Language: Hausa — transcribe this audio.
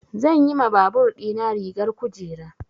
Zan yi ma babur ɗina rigar kujera.